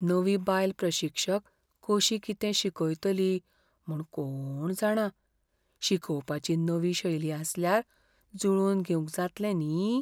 नवी बायल प्रशिक्षक कशी कितें शिकयतली म्हूण कोण जाणा! शिकोवपाची नवी शैली आसल्यार जुळोवन घेवंक जातलें न्ही?